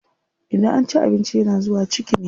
Idan an ci abinci yana zuwa ciki ne.